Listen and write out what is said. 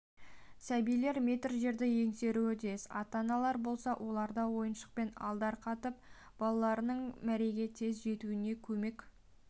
сәбилер метр жерді еңсеруі тиіс ата-аналар болса оларды ойыншықпен алдарқатып балаларының мәреге тез жетуіне көмек